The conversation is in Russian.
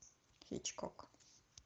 хичкок